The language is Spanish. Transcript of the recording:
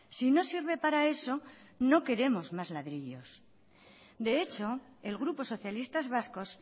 si no sirve para eso no queremos más ladrillos de hecho el grupo socialistas vascos